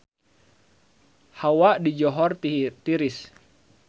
Hawa di Johor tiris